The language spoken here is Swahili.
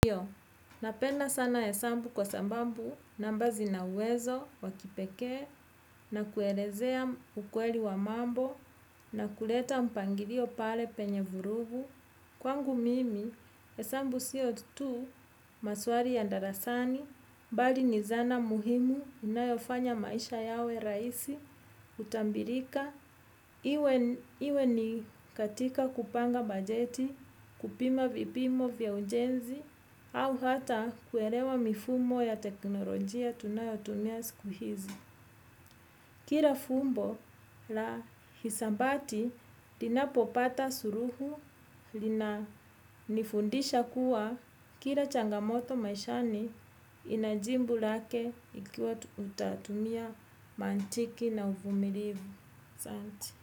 Napenda sana hesabu kwa sababu namba zina uwezo, wakipekee, na kuelezea ukweli wa mambo, na kuleta mpangilio pale penye vurugu. Kwangu mimi, hesambu sio tu, maswali ya darasani, bali ni zana muhimu inayofanya maisha yawe raisi, utambilika. Iwe ni katika kupanga bajeti, kupima vipimo vya ujenzi au hata kuelewa mifumo ya teknolojia tunayotumia siku hizi. Kila fumbo la hisabati linapopata suluhu lina nifundisha kuwa kila changamoto maishani inajibu lake ikiwa tutatumia mantiki na uvumilivu asanti.